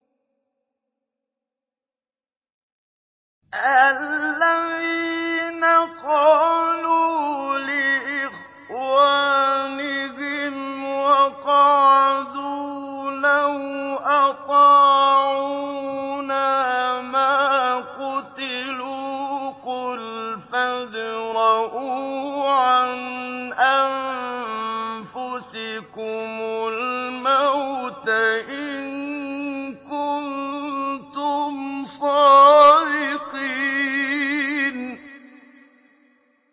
الَّذِينَ قَالُوا لِإِخْوَانِهِمْ وَقَعَدُوا لَوْ أَطَاعُونَا مَا قُتِلُوا ۗ قُلْ فَادْرَءُوا عَنْ أَنفُسِكُمُ الْمَوْتَ إِن كُنتُمْ صَادِقِينَ